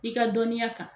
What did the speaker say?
I ka dɔnniya kan